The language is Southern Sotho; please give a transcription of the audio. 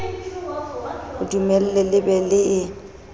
dumelle le be le ele